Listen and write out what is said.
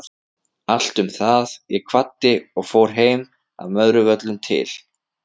Allt um það, ég kvaddi og fór heim að Möðruvöllum til